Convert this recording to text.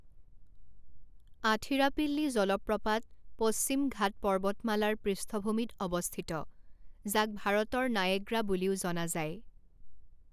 আথিৰাপিল্লী জলপ্ৰপাত পশ্চিম ঘাট পৰ্বতমালাৰ পৃষ্ঠভূমিত অৱস্থিত, যাক ভাৰতৰ নায়েগ্ৰা বুলিও জনা যায়।